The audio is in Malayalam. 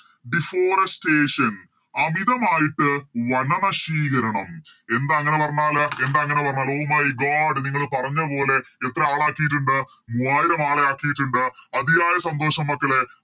Deforestation അമിതമായിട്ട് വന നശീകരണം എന്താ അങ്ങനെ പറഞ്ഞാല് എന്താ അങ്ങനെ പറഞ്ഞാല് Oh my god നിങ്ങള് പറഞ്ഞ പോലെ എത്ര ആളക്കിട്ടുണ്ട് മൂവായിരം ആളെ ആക്കിയിട്ടുണ്ട് അതിയായ സന്തോഷം മക്കളെ